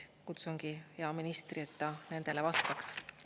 Kutsungi siis hea ministri, et ta nendele vastaks.